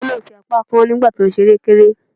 Ọmọ náà fi apá kán nígbà tí ó ń ṣe erékéré.